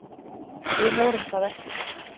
Við vorum það ekki.